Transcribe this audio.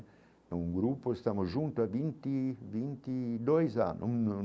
Em um grupo estamos juntos há vinte vinte de dois anos.